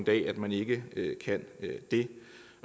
at man ikke kan det